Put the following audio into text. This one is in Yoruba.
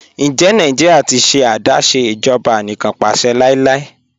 Ǹjẹ Nàìjíríà ti ṣẹ̀ adásé ìjọba ànìkànpàṣẹ̀ láíláí?